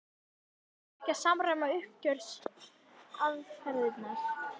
En þarf þá ekki að samræma uppgjörsaðferðirnar?